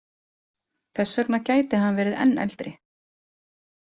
Þess vegna gæti hann verið enn eldri.